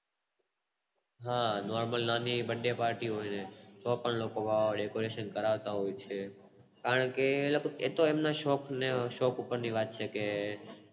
હા Normal નાની એવી birthday party હોય તો પણ લોકો વાળ અને Fashion કરાવતા હોય છે